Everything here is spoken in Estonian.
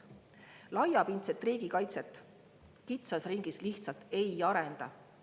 Laiapindset riigikaitset kitsas ringis lihtsalt ei arenda.